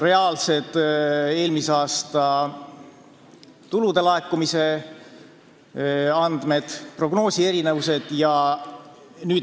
Tänavu kasvab see kahju 86 miljonini koos käibemaksuga.